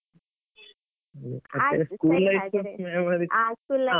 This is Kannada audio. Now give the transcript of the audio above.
.